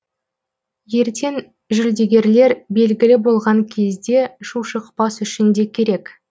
ертең жүлдегерлер белгілі болған кезде шу шықпас үшін де керек